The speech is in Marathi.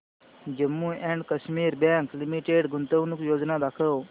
Jammu and Kashmir bank limited गुंतवणूक योजना दाखव